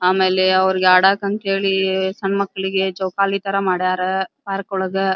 ಆಮೇಲೆ ಅವ್ರಿಗೆ ಅಡಕೆ ಅಂತೇಳಿ ಜೋಕಲಿ ತರ ಮಾಡ್ಯಾರ ಪಾರ್ಕ್ ಒಳಗ --